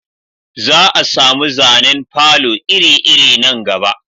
Za a samu zanen falo iri iri nan gaba